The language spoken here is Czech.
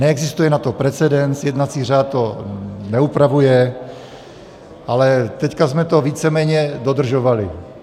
Neexistuje na to precedens, jednací řád to neupravuje, ale teď jsme to víceméně dodržovali.